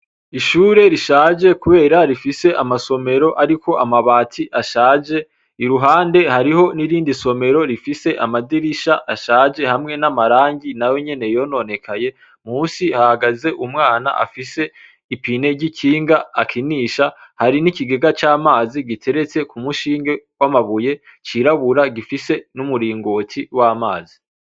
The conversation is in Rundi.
Ishure rishaje kubera rifise amasomero ariko amabati ashaje, iruhande hariho nirindi nsomero rifise amadirisha ashaje hamwe n’amarangi nayo nyene yononekaye, munsi hahagaze umwana afise ipine ry’ikinga akinisha. Hari n’ikigega c’amazi giteretse ku munshinge w’amabuye c’irabura gifise n’umurongoti w’amazi.